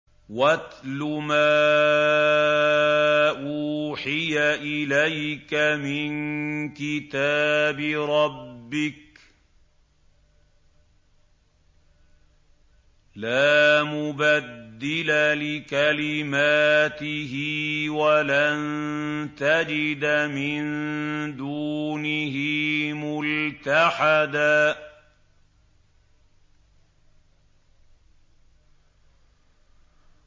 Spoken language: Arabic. وَاتْلُ مَا أُوحِيَ إِلَيْكَ مِن كِتَابِ رَبِّكَ ۖ لَا مُبَدِّلَ لِكَلِمَاتِهِ وَلَن تَجِدَ مِن دُونِهِ مُلْتَحَدًا